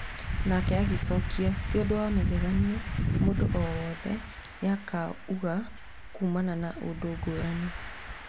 Nake agĩcokia" ti ũndũwa magegania mũndu o wothe nĩ akuaga kumana na ũndũngũrani